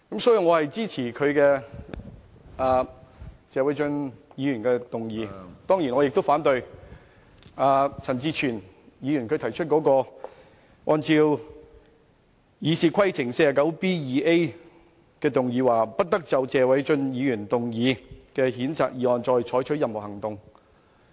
所以，我支持謝偉俊議員的議案，當然我也反對陳志全議員根據《議事規則》第 49B 條動議的"不得就謝偉俊議員動議的譴責議案再採取任何行動"的議案。